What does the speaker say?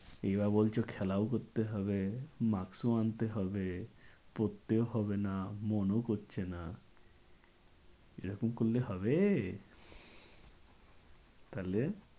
এবার বলছো খেলাও করতে হবে maks ও আনতে হবে পড়তেও হবে না, মনও করছে না এরকম করলে হবে? তাহলে